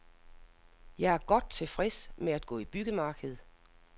Jeg er godt tilfreds med at gå i byggemarked.